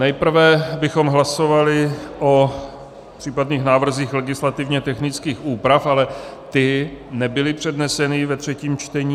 Nejprve bychom hlasovali o případných návrzích legislativně technických úprav, ale ty nebyly předneseny ve třetím čtení.